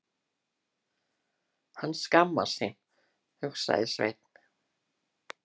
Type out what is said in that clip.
Hann skammast sín, hugsaði Sveinn.